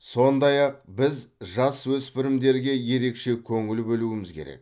сондай ақ біз жасөспірімдерге ерекше көңіл бөлуіміз керек